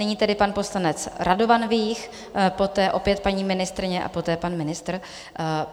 Nyní tedy pan poslanec Radovan Vích, poté opět paní ministryně a poté pan ministr.